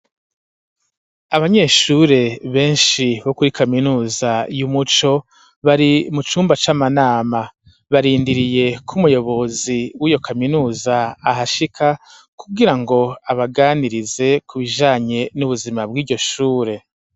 Abanyeshure beshi bo kuri kaminuza y'umuco bari mu cumba c'amanama barindiriye ku muyobozi wiyo kaminuza ahashika kugira ngo abaganirize ku bijanye n'ubuzima bw'iryo shure